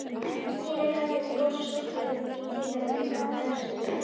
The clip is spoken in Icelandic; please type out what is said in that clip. Stína gaf þeim gos og súkkulaði í tilefni dagsins.